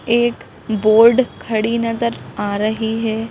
एक बोर्ड खड़ी नजर आ रही है।